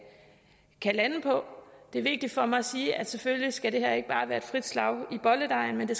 kan lande på det er vigtigt for mig at sige at selvfølgelig skal det her ikke bare være et frit slag i bolledejen men